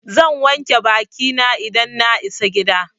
Zan wanke bakina in na isa gida.